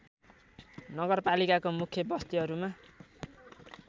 नगरपालिकाको मुख्य बस्तीहरूमा